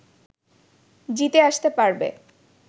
জিতে আসতে পারবে